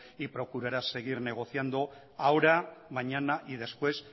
y procurará seguir negociando ahora mañana y después